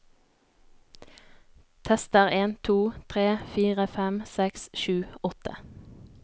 Tester en to tre fire fem seks sju åtte